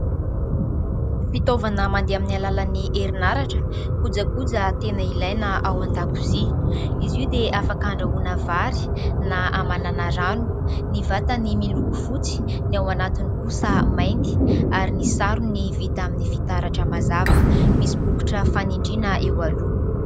Fitaovana mandeha amin'ny alalan'ny herin'aratra, kojakoja tena ilaina ao an-dakozia, izy io dia afaka handrahoana vary na hamanana rano. Ny vatany miloko fotsy, ny ao anatiny kosa mainty ary ny sarony vita amin'ny fitaratra mazava, misy bokotra fanindrina eo aloha.